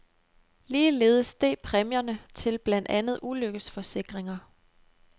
Ligeledes steg præmierne til blandt andet ulykkesforsikringer.